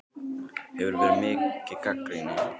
Hefur verið mikið gagnrýni?